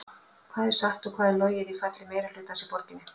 Hvað er satt og hvað er logið í falli meirihlutans í borginni?